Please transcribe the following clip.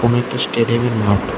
একটি স্টেডিয়ামের মাঠ।